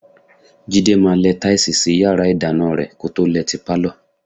Jídé máa lẹ táìsì sí yàrá ìdáná rẹ kó tó lẹ ti pálọ̀.